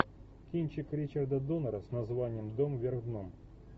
кинчик ричарда доннера с названием дом вверх дном